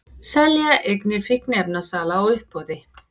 Selja eignir fíkniefnasala á uppboði